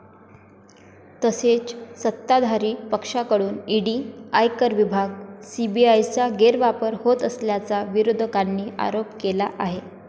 तसेच सत्ताधारी पक्षाकडून ईडी, आयकर विभाग, सीबीआयचा गैरवापर होत असल्याचा विरोधकांनी आरोप केला आहे.